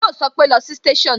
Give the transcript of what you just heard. Yo sọpe "lọ sí station"